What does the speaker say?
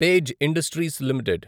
page Industries limited